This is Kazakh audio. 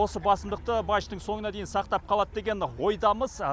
осы басымдықты мачтың соңына дейін сақтап қалады деген ойдамыз